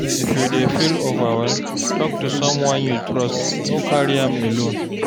If you dey feel overwhelmed, tok to someone you trust, no carry am alone